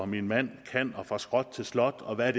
min mand kan og fra skrot til slot og hvad